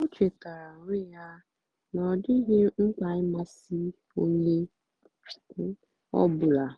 ó chétárá ónwé yá nà ọ́ dị́ghị́ mkpà ị̀másị́ ónyé ọ́ bụ́là.